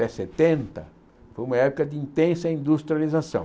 até setenta, foi uma época de intensa industrialização.